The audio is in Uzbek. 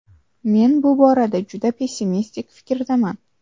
Men bu borada juda pessimistik fikrdaman.